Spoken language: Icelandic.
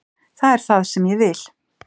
Það er það sem ég vil.